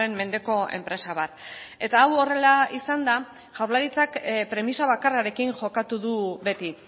mendeko enpresa bat eta hau horrela izanda jaurlaritzak premisa bakarrarekin jokatu du beti